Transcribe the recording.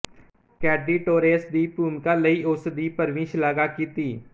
ਕੈਡੀ Torres ਦੀ ਭੂਮਿਕਾ ਲਈ ਉਸ ਦੀ ਭਰਵੀਂ ਸ਼ਲਾਘਾ ਕੀਤੀ